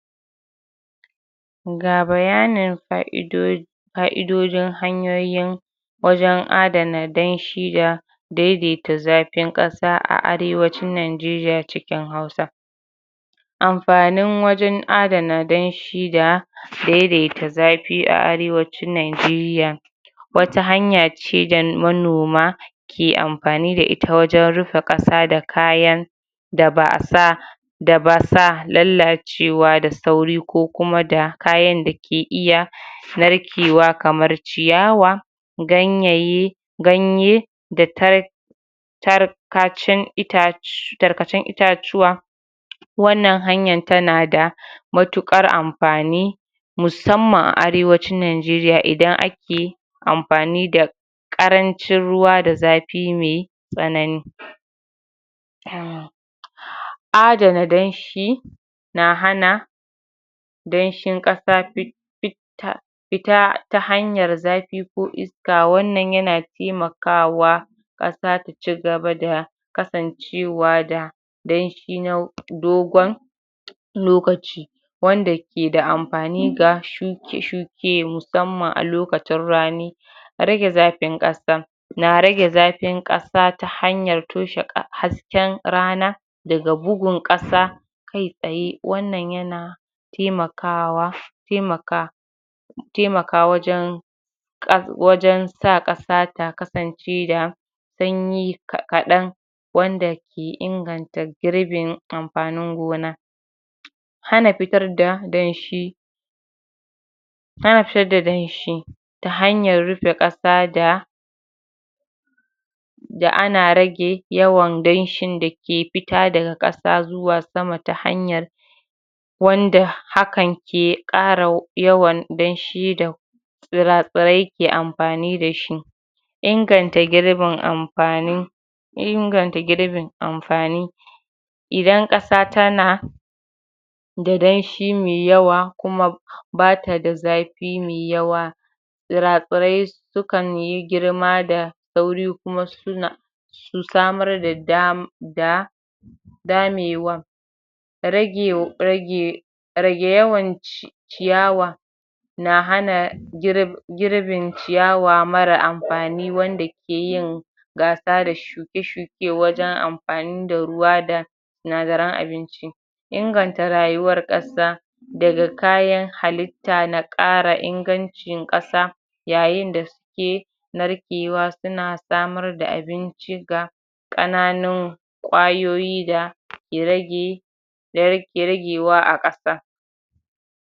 ga bayanin fa'idodin fa'idodin hanyoyin wajen adana danshi ga daidaita zafin ƙasa a arewacin najeriya cikin hausa amfanin wajen adana danshi da daidaita zafi a arewacin najeriya wata hanyace da manima ke amfani da ita wajen rufe ƙasa da kayan da ba'a sa da basa lallacewa da sauri ko kuma da kayan dake iya narkewa kamar ciyawa ganyayye ganye da ta tarkacen itac tarkacen itacuwa wannan hanyan tana da matuƙar amfani musamman a arewacin najeriya idan ake amfani da ƙarancin ruwa da zafi me tsanani adana danshi na hana danshin ƙasa fi fi fita ta hanyar zafi ko iska wannan yana taimakwa ƙasa ta cigaba da kasancewa da danshi na dogon lokaci wanda keda amfani ga shuke-shuke musamman a lokacin rani rage zafin ƙasa na rage zafin ƙasa ta hanyar toshe zafin rana daga bugun ƙasa kai tsaye wannan yana taimakawa taimaka taimaka wajen wajen sa ƙasa ta kasance da sanyi kaɗan wanda ke inganta girbin amfanin gona. hana fitar da danshi bata da danshi ta hanyar rufe ƙasa da da ana rage yawan danshin dake fita daga ƙasa zuwa sama ta hanyar wanda hakan ke ƙara yawan danshi da tsira-tsirai ke amfani dashi inganta girbin amfani inganta girbin amfani idan ƙasa tana da danshi mai yawa kuma bata da zafi mai yawa tsira-tsirai sukanyi girma da sauri kuma suna su samar da dam da damewan rage rage rage yawan ciyawa na hana girbin ciyawa mara amfani wanda ke yin gasa da shuke-shuke wajen amfani da ruwa da sinadaran abinci. inganta rayuwan ƙasa daga kayan halitta na ƙara ingancin ƙasa yayinda suke narkewa suna samar da abinci ga ƙananun kwayoyi dake rage da yake ragewa a ƙasa.